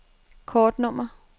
kortnummer